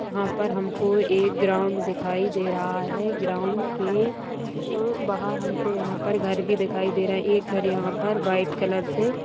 हमको एक ग्राउंड दिखाई दे रहा है ग्राउंड के आ बाहर हमको यहाँ पर घर भी दिखाई दे रहा है एक घर यहाँ पर व्हाइट कलर से --